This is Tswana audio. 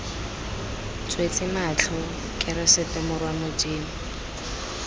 tswetse matlho keresete morwa modimo